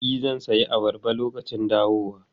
E, zan sayi ayaba lokacin dawowa.